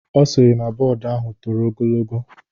Ọ sịrị na bọọdu ahụ toro ogologo.